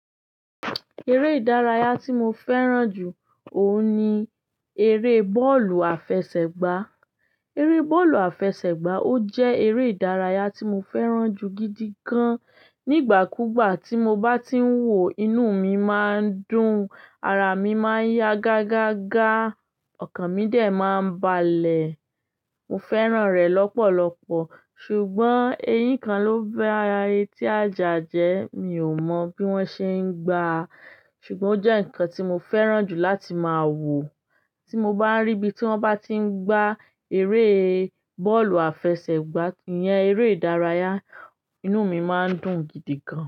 Eré ìdárayá tí mo fẹ́ràn jù òun ni eré bọ́ọ̀lù àfẹsẹ̀gbá. Eré bọ́ọ̀lù àfẹsẹ̀gbá, ó jẹ́ eré ìdárayá tí mo fẹ́ràn jù gidi gan. Nígbà kúgbà tí mo bá ti ń wò, inú mi máa ń dùn, ara mi máa ń yá gágágá, ọkàn mi dè máa ń balẹ̀. Mo fẹ́ràn rẹ lọ́pọ̀lọpọ̀, ṣùgbọ́n eyín kan ló ba ara ẹtí ajà jẹ. Mi ò mọ bí wọ́n ṣe ń gbà á, ṣùgbọ́n ó jẹ́ nǹkan tí mo fẹ́ràn jù láti máa wò. Tí mo bá rí ibi tí wọ́n bá ti ń gbá eré bọ́ọ̀lù àfẹsẹ̀gbá, ìyẹn eré ìdárayá, inú mi máa ń dùn gidi gan.